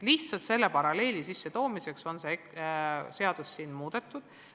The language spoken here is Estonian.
Lihtsalt selle paralleeli sissetoomiseks on seda regulatsiooni muudetud.